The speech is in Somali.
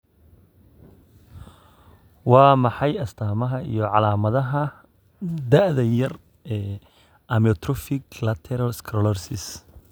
Waa maxay astamaha iyo calamadaha da'da yar ee amyotrophic lateral sclerosis?